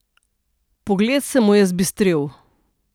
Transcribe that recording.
Pogled se mu je zbistril.